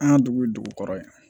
An ka dugu ye dugu kɔrɔ ye